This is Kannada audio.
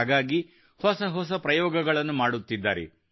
ಹಾಗಾಗಿ ಹೊಸ ಹೊಸ ಪ್ರಯೋಗಗಳನ್ನು ಮಾಡುತ್ತಿದ್ದಾರೆ